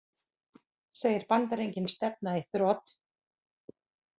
Segir Bandaríkin stefna í þrot